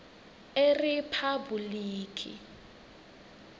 eriphabhulikhi